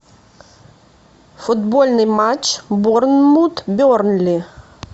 футбольный матч борнмут бернли